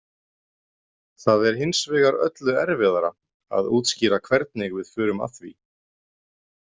Það er hins vegar öllu erfiðara að útskýra hvernig við förum að því.